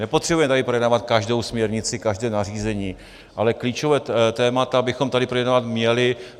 Nepotřebujeme tady projednávat každou směrnici, každé nařízení, ale klíčová témata bychom tady projednávat měli.